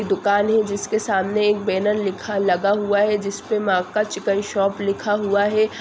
एक दुकान है जिस के सामने एक बेनर लिखा लगा हुआ है जिस पर चिकेन शॉप लिखा हुआ है।